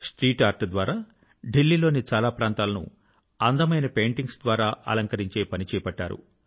street art ద్వారా ఢిల్లీ లోని చాలా ప్రాంతాల ను అందమైన పెయింటింగ్స్ ద్వారా అలంకరించే పని చేపట్టారు